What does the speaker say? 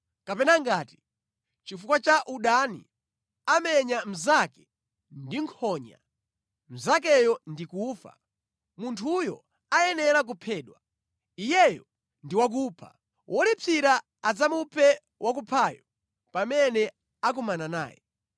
kapena ngati, chifukwa cha udani, amenya mnzake ndi nkhonya, mnzakeyo ndi kufa, munthuyo ayenera kuphedwa. Iyeyo ndi wakupha. Wolipsira adzamuphe wakuphayo pamene akumana naye.